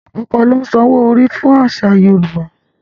Ọkọ ló ń san owó orí fún ìyàwó nínú àṣà Yorùbá.